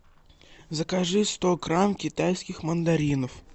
закажи сто грамм китайских мандаринов